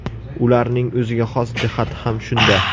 Ularning o‘ziga xos jihati ham shunda.